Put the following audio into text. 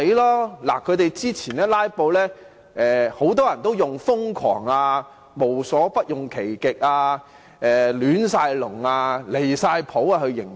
對於他們之前的"拉布"行動，很多人也用"瘋狂"、"無所不用其極"、"亂晒籠"、"離晒譜"等來形容。